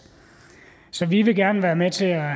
så vi vil gerne være med til at